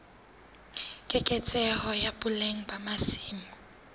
keketseho ya boleng ba masimo